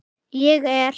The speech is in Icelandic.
Ég er